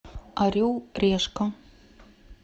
орел решка